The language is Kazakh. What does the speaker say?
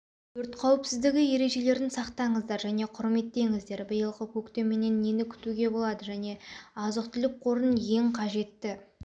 өрт қауіпсіздігі ережелерін сақтаңыздар және құрметтеңіздер биылғы көктеменен нені күтуге болады азық-түліқ қорын және ең қажетті